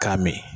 K'a min